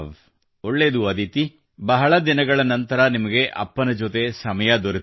ಒಳ್ಳೇದು ಅದಿತಿ ಬಹಳ ದಿನಗಳ ನಂತರ ನಿಮಗೆ ಅಪ್ಪನ ಜೊತೆ ಸಮಯ ದೊರೆತಿದೆ